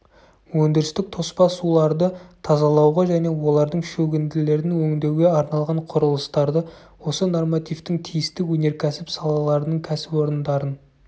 өндірістік тоспа суларды тазалауға және олардың шөгінділерін өңдеуге арналған құрылыстарды осы нормативтің тиісті өнеркәсіп салаларының кәсіпорындарын